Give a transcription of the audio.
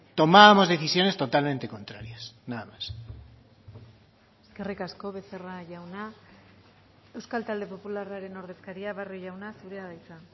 tomábamos decisiones totalmente contrarias nada más eskerrik asko becerra jauna euskal talde popularraren ordezkaria barrio jauna zurea da hitza